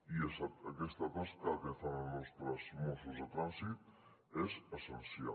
i aquesta tasca que fan els nostres mossos de trànsit és essencial